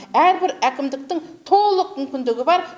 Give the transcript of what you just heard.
әрбір әкімдіктің толық мүмкіндігі бар